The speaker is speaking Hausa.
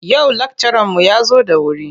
Yau lakcaranmu ya zo da wuri.